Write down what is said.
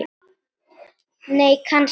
nei kannski